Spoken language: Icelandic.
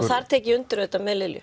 þar tek ég undir með Lilju